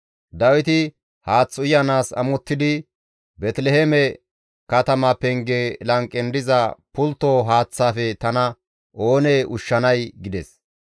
Dawiti haath uyanaas amottidi, «Beeteliheeme katama penge lanqen diza pultto haaththaafe tana oonee ushshanay!» gides.